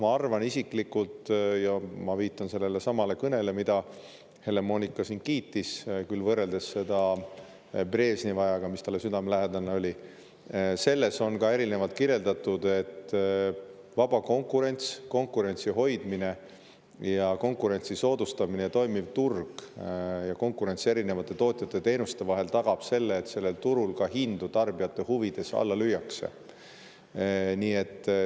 Ma arvan isiklikult, viidates sellelesamale kõnele, mida Helle-Moonika siin kiitis – tuues võrdlusi küll Brežnevi ajaga, mis talle südamelähedane on – ja kus on seda ka erinevalt kirjeldatud, et vaba konkurents, konkurentsi hoidmine ja konkurentsi soodustamine ning toimiv turg ja konkurents erinevate tootjate ja teenuste vahel tagab selle, et sellel turul hindu tarbijate huvides ka alla lüüakse.